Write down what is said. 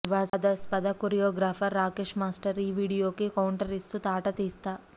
వివాదాస్పద choreographer Rakesh master ఈ వీడియోకి కౌంటర్ ఇస్తూ తాట తీస్తా